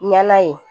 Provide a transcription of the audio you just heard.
Ɲɛna ye